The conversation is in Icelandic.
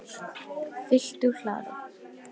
Fylgt úr hlaði